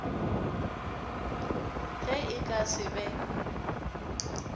ge e ka se be